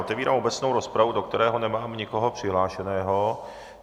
Otevírám obecnou rozpravu, do které nemám nikoho přihlášeného.